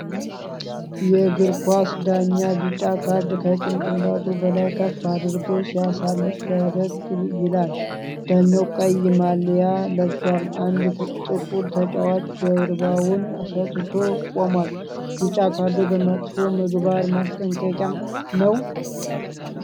የእግር ኳስ ዳኛ ቢጫ ካርድ ከጭንቅላቱ በላይ ከፍ አድርጎ ሲያሳይ ፈገግ ይላል። ዳኛው ቀይ ማሊያ ለብሷል። አንድ ጥቁር ተጫዋች ጀርባውን ሰጥቶት ቆሟል። ቢጫ ካርዱ ለመጥፎ ምግባር ማስጠንቀቂያ ነው?